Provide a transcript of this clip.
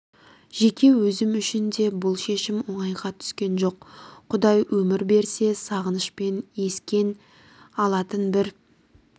жеке өзім үшін де бұл шешім оңайға түскен жоқ құдай өмір берсе сағынышпен ескен алатын бір